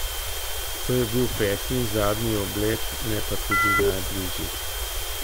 To je bil peti in zadnji oblet, ne pa tudi najbližji.